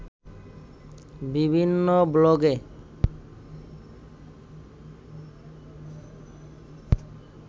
বিভিন্ন ব্লগে